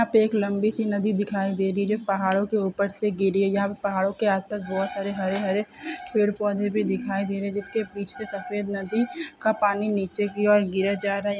यहा पर एक लंबी सी नदी दिखाई दे रही है जो पहाड़ों के ऊपर से गिर रही है यहा पर पहाड़ों के आस पास बहुत सारे हरे-हरे पेड़ पौधे भी दिखाई दे रहे हैं जिसके पीछे सफेद नदी का पानी नीचे की और गिरे जा रहा है।